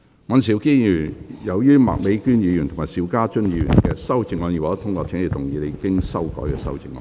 尹兆堅議員，由於麥美娟議員及邵家臻議員的修正案已獲得通過，請動議你經修改的修正案。